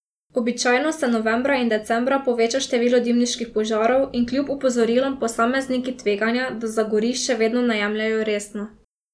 Običajno se novembra in decembra poveča število dimniških požarov in kljub opozorilom posamezniki tveganja, da zagori, še vedno ne jemljejo resno.